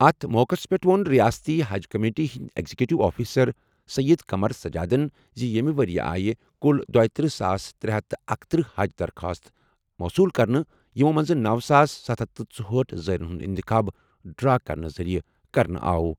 اَتھ موقعَس پٮ۪ٹھ ووٚن ریاستی حج کمیٹی ہٕنٛدۍ ایگزیکٹو آفیسر سید قمر سجادَن زِ ییٚمہِ ؤرۍ یہِ آیہِ کُل دٗویتٔرہ ساس ترے ہتھ تہٕ اکتٔرہ حج درخواستہٕ مِوصلو کرنہٕ، یِمو منٛزٕ نوَ ساس ستھَ ہتھ تہٕ ژۄہأٹھ زائرین ہُنٛد انتخاب ڈرا کرنہٕ ذٔریعہٕ کرنہٕ آو۔